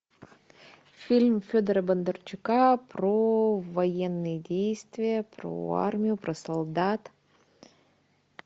фильм федора бондарчука про военные действия про армию про солдат